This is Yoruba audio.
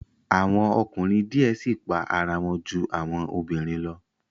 Awọn ọkunrin diẹ sii pa ara wọn ju awọn obinrin lọ